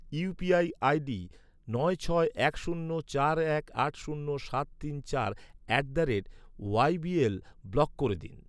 UPI ID নয় ছয় এক শূন্য চার এক আট শূন্য সাত তিন চার at the rate YBL block করে দিন।